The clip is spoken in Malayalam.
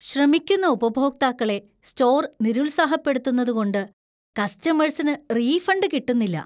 ശ്രമിക്കുന്ന ഉപഭോക്താക്കളെ സ്റ്റോർ നിരുത്സാഹപ്പെടുത്തുന്നതു കൊണ്ട് കസ്റ്റമേഴ്സിന് റീഫണ്ടു കിട്ടുന്നില്ല.